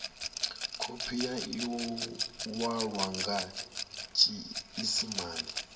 khophi ya iwalwa nga tshiisimane